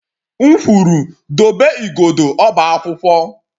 M kwuru dobe igodo ọba akwụkwọ!